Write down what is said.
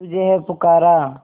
तुझे है पुकारा